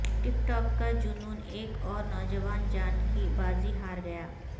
ٹک talk کا جنون ایک اور نوجوان جان کی بازی ہار گیا